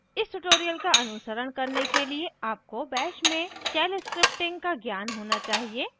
इस tutorial का अनुसरण करने के लिए आपको bash में shell scripting का ज्ञान होना चाहिए